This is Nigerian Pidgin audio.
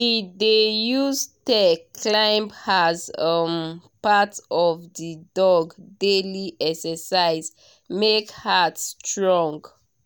he dey use stair climb as um part of the dog daily exercise make heart strong.